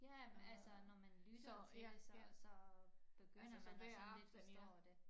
Ja altså når man lytter til det så så begynder man at sådan lidt forstår det